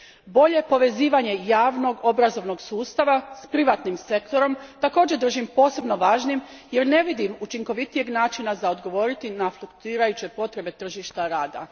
Bolje povezivanje javnog obrazovnog sustava s privatnim sektorom također držim posebno važnim jer ne vidim učinkovitijeg načina za odgovoriti na fluktuirajuće potrebe tržišta rada.